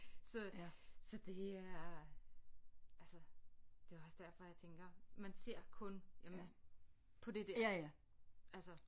Så så det er altså det var også derfor jeg tænker man ser kun jamen på det der altså